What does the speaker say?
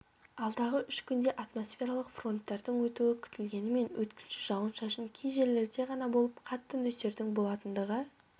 алдағы үш күнде атмосфералық фронттардың өтуі күтілгенімен өткінші жауын-шашын кей жерлерде ғана болып қатты нөсердің болатындығы